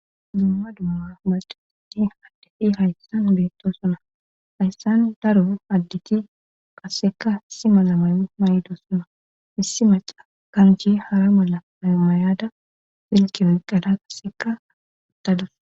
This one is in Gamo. Duumma dumma baadiiti haddefi hayssan beetto suna hayssan daro additi qasseka issi mala mayo may7do suna issi maca kanjhi hara mala amayada filkiwoy qara qasseka aattadus.